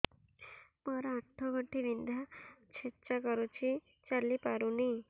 ମୋର ଆଣ୍ଠୁ ଗଣ୍ଠି ବିନ୍ଧା ଛେଚା କରୁଛି ଚାଲି ପାରୁନି